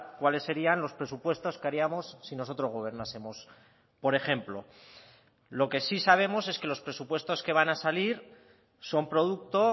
cuales serían los presupuestos que haríamos si nosotros gobernásemos por ejemplo lo que sí sabemos es que los presupuestos que van a salir son producto